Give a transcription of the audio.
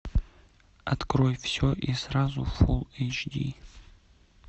открой все и сразу фулл эйч ди